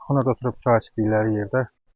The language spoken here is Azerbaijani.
Ona da durub çay istədiyi yerdə.